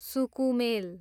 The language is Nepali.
सुकुमेल